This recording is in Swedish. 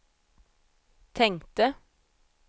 tänkte